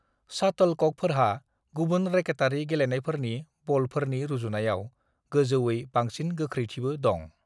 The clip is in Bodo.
शाटलककफोरहा गुबुन रेकेटारि गेलेनायफोरनि बलफोरनि रुजुनायाव गोजौयै बांसिन गोख्रैथिबो दं।